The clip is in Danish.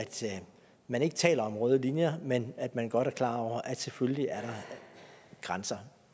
man ikke taler om røde linjer men at man godt er klar over at selvfølgelig er der grænser